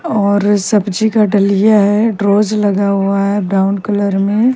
और सब्जी का दलीय है दलीय है ब्रोंज लगा हुआ है ब्राउन कलर में--